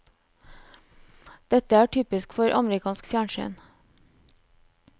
Dette er typisk for amerikansk fjernsyn.